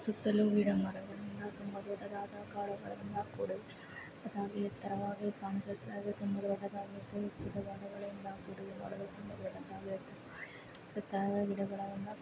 ಸುತ್ತಲೂ ಗಿಡ ಮರವನ್ನು